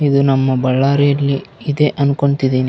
ಇದು ನಮ್ಮ ಬಳ್ಳಾರಿಯಲ್ಲಿ ಇದೆ ಅಂದ್ಕೊತಿದೀನಿ.